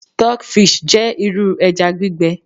stockfish je iru eja gbígbẹ